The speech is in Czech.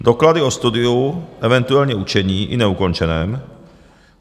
doklady o studiu, eventuálně učení, i neukončeném;